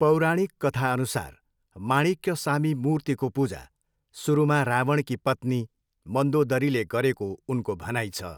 पौराणिक कथाअनुसार माणिक्यसामी मूर्तिको पूजा सुरुमा रावणकी पत्नी मन्दोदरीले गरेको उनको भनाइ छ।